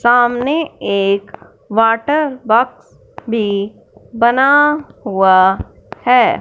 सामने एक water box भी बना हुआ हैं।